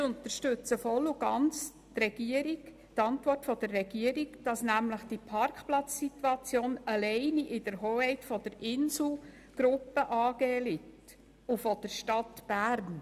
Wir unterstützen die Antwort der Regierung vollumfänglich, nämlich dass die Parkplatzsituation allein in der Hoheit der Insel Gruppe AG und der Stadt Bern liegt.